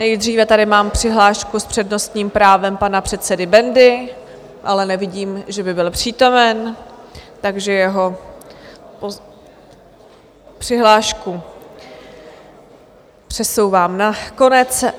Nejdříve tady mám přihlášku s přednostním právem pana předsedy Bendy, ale nevidím, že by byl přítomen, takže jeho přihlášku přesouvám na konec.